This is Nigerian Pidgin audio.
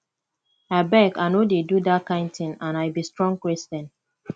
abeg i no dey do dat kin thing and i be strong christian